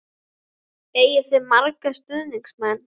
Eigið þið marga stuðningsmenn?